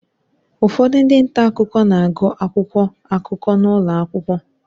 Ụfọdụ ndị nta akụkọ na-agụ akwụkwọ akụkọ n'ụlọ akwụkwọ